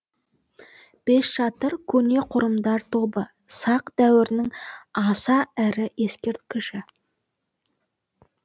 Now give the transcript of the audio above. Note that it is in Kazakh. бесшатыр көне қорымдар тобы сақ дәуірінің аса ірі ескерткіші